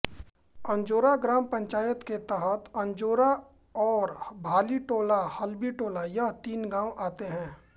अंजोरा ग्राम पंचायत के तहत अंजोरा और भालीटोलाहलबीटोला यह तीन गाव आते हैं